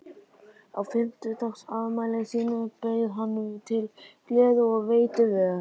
Á fimmtugsafmæli sínu bauð hann til gleði og veitti vel.